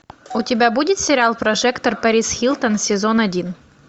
у тебя будет сериал прожектор перис хилтон сезон один